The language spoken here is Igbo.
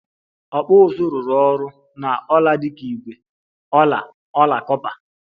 Okpu uzu rụrụ ọrụ na ọla dị ka ígwè, ọla, ọla kọpa